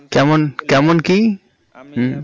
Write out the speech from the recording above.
কেমন কি আমি হম